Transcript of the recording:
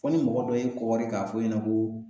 Fo ni mɔgɔ dɔ y'e kɔgɔri k'a f'e ɲɛnɛ ko